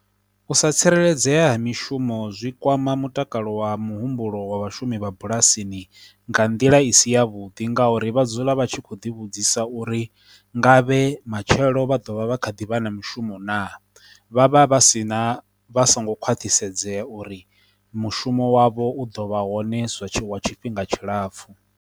U sa tsireledzea ha mishumo zwi kwama mutakalo wa muhumbulo wa vhashumi vha bulasini nga nḓila i si ya vhuḓi, nga uri vha dzula vha tshi kho ḓi vhudzisa uri nga vhe matshelo vha dovha vha kha ḓivha na mishumo na, vha vha vha si na vha songo khwaṱhisedza uri mushumo wavho u ḓo vha hone zwa wa tshifhinga tshilapfhu.